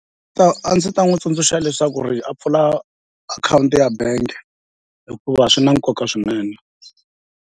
a ndzi ta n'wi tsundzuxa leswaku ri a pfula akhawunti ya bangi hikuva swi na nkoka swinene.